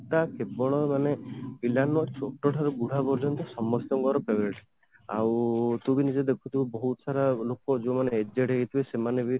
ଟା କେବଳ ମାନେ ପିଲା ନୁହଁ ଛୋଟ ଠାରୁ ବୁଢା ପର୍ଯ୍ୟନ୍ତ ସମସ୍ତଙ୍କର favourite ଆଉ ତୁ ବି ନିଜେ ଦେଖୁଥିବୁ ବହୁତ ସାରା ଲୋକ ଯୋଉମାନେ aged ହେଇଥିବେ ସେମାନେ